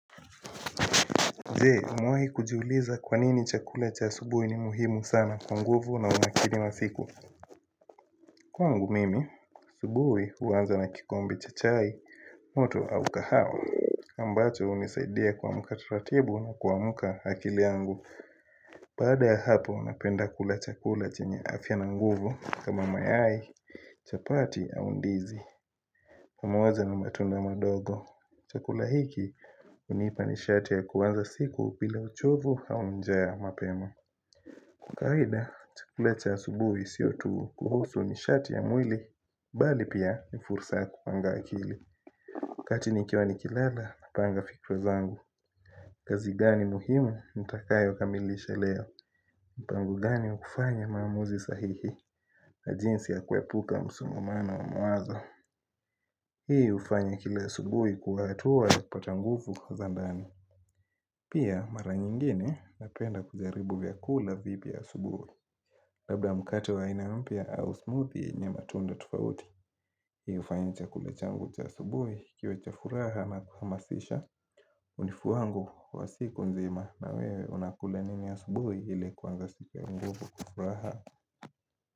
Je umewahi kujiuliza kwanini chakula cha asubuhi ni muhimu sana kwa nguvu na unakili masiku Kwangu mimi, asubuhi huanza na kikombe cha chai, moto, au kahawa ambacho hunisaidia kuamka taratibu na kuamka akili yangu Baada ya hapo napenda kula chakula chenye afya na nguvu kama mayai, chapati au ndizi pamoja na matunda madogo Chakula hiki hunipa nishati ya kuwaza siku bila uchovu au njaa ys mapema Kwa kawaida, chakula cha asubuhi siotu kuhusu nishati ya mwili Bali pia ni fursa kupanga akili Katini kiwa nikilala, napanga fikra zangu Kazigani muhimu, nitakayo kamilisha leo mpango gani hukufanya maamuzi sahihi jinsi ya kuepuka msongomano wa mawazo Hii ufanya kila asubuhi kuwa atuwa kupata nguvu kwa zandani Pia mara nyingine na penda kujaribu vya kula vipi ya asubuhi Labda mkate wa aina mpya au smoothie yenye matunda tofauti Hii hufanya cha kula changu cha asubuhi kiwe cha furaha na kuhamasisha hunifuangua wa siku nzima na wewe unakula nini ya asubuhi ile kuanza siku nguvu kufuraha.